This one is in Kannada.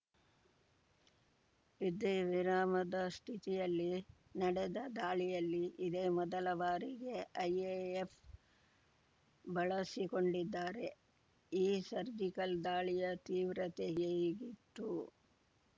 ಯುದ್ಧ ವಿರಾಮದ ಸ್ಥಿತಿಯಲ್ಲಿ ನಡೆದ ದಾಳಿಯಲ್ಲಿ ಇದೇ ಮೊದಲ ಬಾರಿಗೆ ಐಎಎಫ್‌ ಬಳಸಿಕೊಂಡಿದ್ದಾರೆ ಈ ಸರ್ಜಿಕಲ್‌ ದಾಳಿಯ ತೀವ್ರತೆ ಹೇಗಿತ್ತು